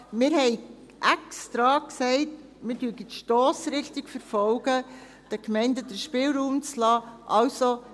Wir haben extra gesagt, dass wir die Stossrichtung verfolgen, den Gemeinden den Spielraum zu lassen.